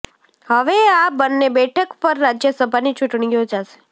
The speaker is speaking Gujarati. હવે આ બન્ને બેઠક પર રાજ્યસભાની ચૂંટણી યોજાશે